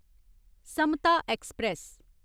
Samta express